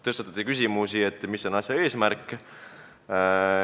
Tõstatati küsimus, mis on eelnõu eesmärk.